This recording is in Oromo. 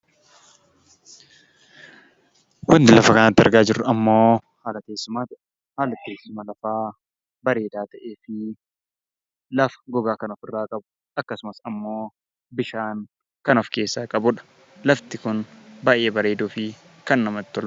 Wanti lafa kanatti argaa jirru ammoo haala teessumaati. Haala teessuma lafaa bareedaa ta'ee fi lafa gogaa kan ofirraa qabu akkasumas ammoo bishaan kan of keessaa qabudha. Lafti kun baay'ee bareedoo fi kan namatti toludha.